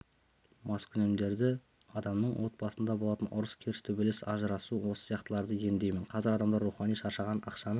маскүнемдерді адамның отбасында болатын ұрыс-керіс төбелес ажырасу осы сияқтылардан емдеймін қазір адамдар рухани шаршаған ақшаның